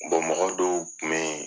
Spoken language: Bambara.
mɔgɔ dɔw kun bɛ yen